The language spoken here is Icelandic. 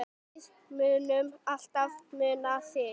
Við munum alltaf muna þig.